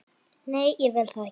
Nei, ég vil það ekki.